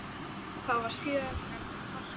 Það var síðar nefnt Harpa.